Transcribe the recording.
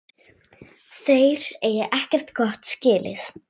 Þeir eigi ekkert gott skilið.